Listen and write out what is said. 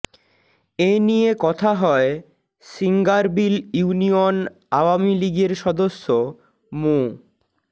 এ নিয়ে কথা হয় সিঙ্গারবিল ইউনিয়ন আওয়ামীলীগের সদস্য মো